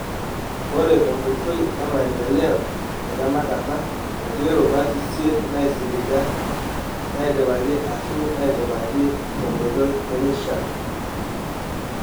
Ore tenkoitoi emaendeleo etenakata, etii rubat isiet naaisiliga naidipaki ashu naaidipaki tenkotoi nemeishaa,.